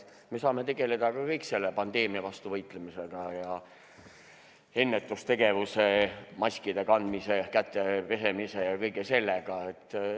Me saame kõik tegeleda selle pandeemia vastu võitlemisega – ennetustegevuse, maskide kandmise, kätte pesemise ja kõige sellega.